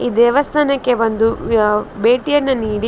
ಈ ದೇವಸ್ಥಾನಕ್ಕೆ ಬಂದು ಯಾ ಭೇಟಿಯನ್ನು ನೀಡಿ --